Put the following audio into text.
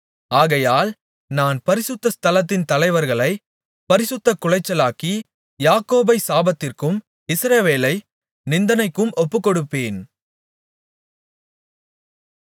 ஆகையால் நான் பரிசுத்த ஸ்தலத்தின் தலைவர்களைப் பரிசுத்தக்குலைச்சலாக்கி யாக்கோபைச் சாபத்திற்கும் இஸ்ரவேலை நிந்தனைக்கும் ஒப்புக்கொடுப்பேன்